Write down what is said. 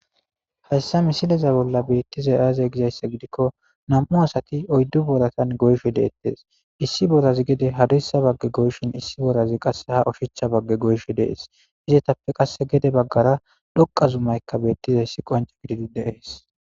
hayssa misileza bolla beettizay aaze gizayssa gidikko nam'u asati oyddu booratan goysho deettes issi borazi gede hadirssa bagge goyshin issi borazi qasse ha oshicha bagge goyishe dees izetappe qasse gede baggara dhoqa zumaykka beettizayssi qonca gididi deees